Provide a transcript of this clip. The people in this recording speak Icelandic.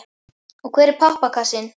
Og hver er pappakassinn?